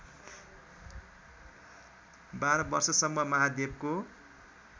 १२ वर्षसम्म महादेवको